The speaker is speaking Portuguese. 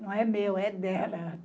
Não é meu, é dela.